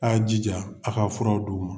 A' y'a' jija, a' ka furaw d'u ma.